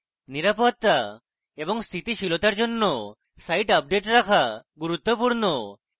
নিরাপত্তা এবং স্থিতিশীলতার জন্য site আপডেট রাখা গুরুত্বপূর্ণ